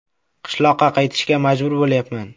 Qishloqqa qaytishga majbur bo‘lyapman.